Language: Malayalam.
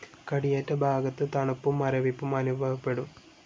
കടിയേറ്റ ഭാഗത്ത് തണുപ്പും മരവിപ്പും അനുഭവപ്പെടും.